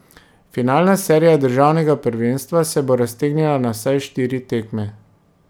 Finalna serija državnega prvenstva se bo raztegnila na vsaj štiri tekme.